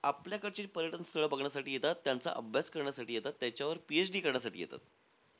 आपल्याकडचे पर्यटन स्थळ बघण्यासाठी येतात, त्यांचा अभ्यास कारण्यासाठी येतात, त्याच्यावर PhD करण्यासाठी येतात.